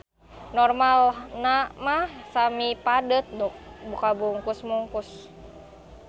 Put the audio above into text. Normalna mah semipadet nu kabungkus mukus.